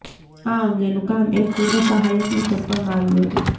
આ અંગેનું કામ એક પૂર્વ સહાયકને સોંપવામાં આવ્યું હતું